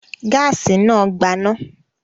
Gáásì náà gbaná.